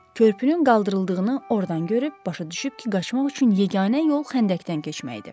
Körpünün qaldırıldığını ordan görüb, başa düşüb ki, qaçmaq üçün yeganə yol xəndəkdən keçmək idi.